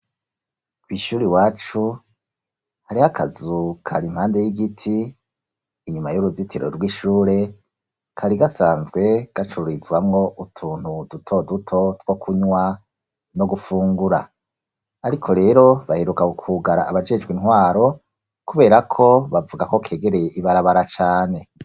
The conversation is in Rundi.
Kw'shure iwacu hariho akazu kera impande y'igiti inyuma y'uruzitiro rw'ishure kari gasanzwe gacururizwamo utuntu duto duto two kunywa no gufungura. Ariko rero baheruka kukugara abajejwe intwaro kubera ko bavuga ko kegereye ibarabara cane.